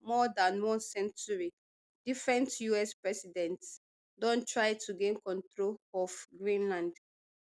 more dan one century different us presidents don try to gain control of greenland